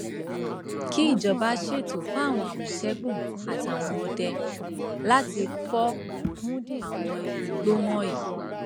kíjọba ṣètò fáwọn àmọtẹkùn àtàwọn ọdẹ láti fọ àwọn igbó wọnyí